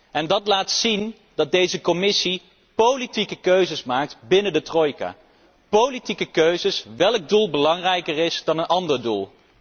En dat laat zien dat deze Commissie politieke keuzes maakt binnen de trojka, politieke keuzes voor welk doel belangrijker is dan een ander doel.